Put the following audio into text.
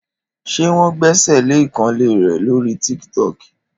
Ṣé wọn gbèsèlé ìkànnlé rẹ lórí Tíktọ̀kí?